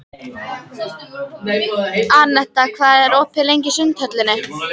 Anetta, hvað er opið lengi í Sundhöllinni?